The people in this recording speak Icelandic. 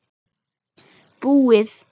Búið!